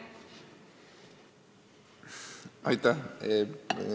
Aitäh!